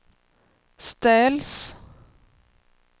ställs